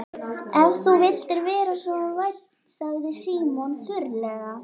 Ef þú vildir vera svo vænn sagði Símon þurrlega.